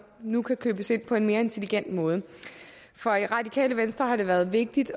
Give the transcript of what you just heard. nu kan købes ind på en mere intelligent måde for radikale venstre har det været vigtigt